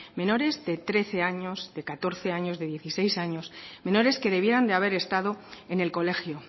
menores de trece años de catorce años de dieciséis años menores que debieran de haber estado en el colegio